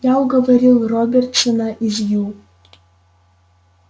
я уговорил робертсона из ю